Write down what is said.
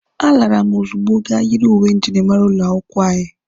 A lara m ozugbo ga yiri uwe njirimara ụlọ akwụkwọ anyị.